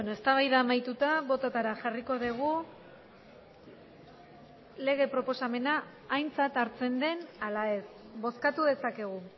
eztabaida amaituta bototara jarriko dugu lege proposamena aintzat hartzen den ala ez bozkatu dezakegu